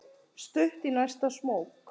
Stutt í næsta smók.